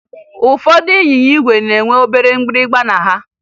Ụfọdụ ịnyịnya ígwè nwere obere mgbịrịmgba na ha